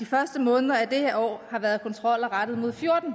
første måneder af det her år har været kontroller rettet mod fjorten